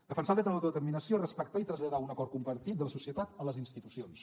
defensar el dret a l’autodeterminació respectar i traslladar un acord compartit de la societat a les institucions